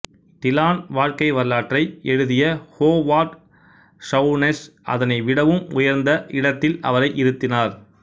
டிலான் வாழ்க்கைவரலாற்றை எழுதிய Howard Sounes அதனை விடவும் உயர்ந்த இடத்தில் அவரை இருத்தினார்